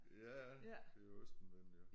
Ja det jo Østenvinden jo